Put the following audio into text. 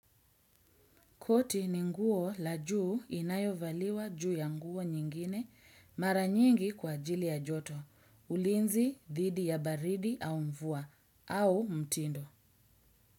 Koti ni nguo la juu inayovaliwa juu ya nguo nyingine mara nyingi kwa ajili ya joto, ulinzi, didi ya baridi au mvua, au mtindo.